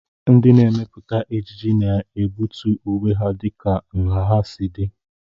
Ndị na-emepụta ejiji na-egbutu uwe ha dịka nha ha si dị.